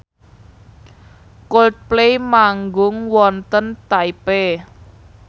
Coldplay manggung wonten Taipei